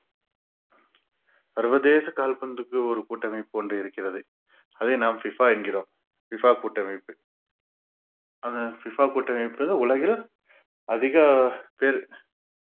சர்வதேச கால்பந்துக்கு ஒரு கூட்டமைப்பு ஒன்று இருக்கிறது அதை நாம் FIFA என்கிறோம் FIFA கூட்டமைப்பு அந்த FIFA கூட்டமைப்பு தான் உலகில் அதிக பேர்